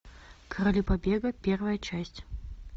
короли побега первая часть